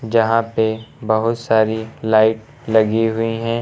यहां पे बहुत सारी लाइट लगी हुई है।